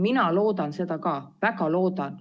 Mina loodan seda ka, väga loodan.